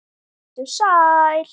Vertu sæl!